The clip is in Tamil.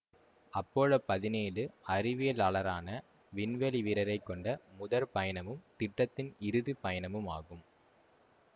அப்பல்லோ பதினேழு அறிவியலாளரான விண்வெளி வீரரை கொண்ட முதற் பயணமும் திட்டத்தின் இறுதி பயணமுமாகும்